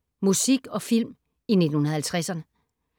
Musik og film i 1950’erne